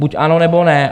Buď ano, nebo ne.